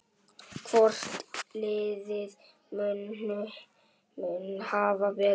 Hvort liðið mun hafa betur?